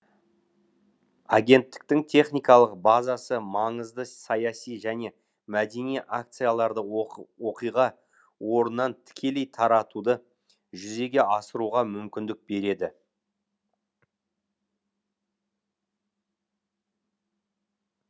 агенттіктің техникалық базасы маңызды саяси және мәдени акцияларды оқиға орнынан тікелей таратуды жүзеге асыруға мүмкіндік береді